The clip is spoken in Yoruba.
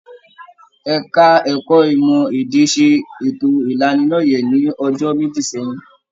Ẹka ẹ̀kọ́ ìmọ èdè ṣe ètò ìlánílọ́yẹ̀ l'ọjọ́ méjì sẹyìn.